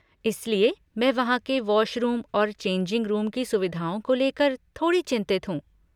इसलिए, मैं वहाँ के वॉशरूम और चेंजिंग रूम की सुविधाओं को लेकर थोड़ी चिंतित हूँ।